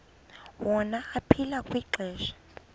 wona aphila kwixesha